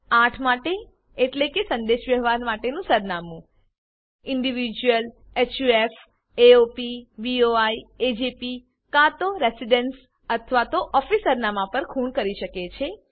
8 માટે એટલે કે સંદેશવ્યવહાર માટેનું સરનામું individualshufsaopboiએજેપી કાં તો રેસિડેન્સ અથવા તો ઓફિસ સરનામા પર ખુણ કરી શકે છે